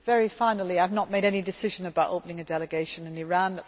Very finally, I have not made any decision about opening a delegation in